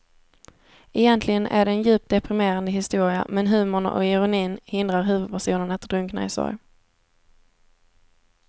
Egentligen är det en djupt deprimerande historia men humorn och ironin hindrar huvudpersonen att drunkna i sorg.